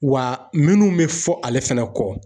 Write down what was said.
Wa minnu be fɔ ale fɛnɛ kɔ